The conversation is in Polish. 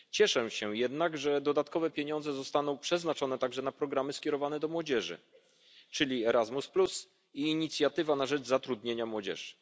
Cieszę się jednak, że dodatkowe pieniądze zostaną przeznaczone także na programy skierowane do młodzieży, czyli Erasmus i inicjatywa na rzecz zatrudnienia młodzieży.